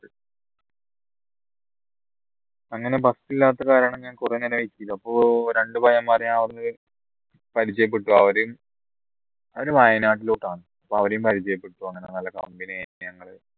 അങ്ങനെ bus ഇല്ലാത്ത കാരണം ഞാൻ കുറേ ഇങ്ങനെ wait ചെയ്തു അപ്പോൾ രണ്ടു പയ്യന്മാരെ ഞാൻ അവിടുന്ന് പരിചയപ്പെട്ടു അവരെയും അവരെ വയനാട്ടിലോട്ട് ആണ് അവിടെയും പരിചയപ്പെട്ടു അങ്ങനെ company ആയി ഞങ്ങൾ